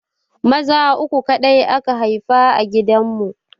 Maza uku kaɗai aka haifa a gidan mu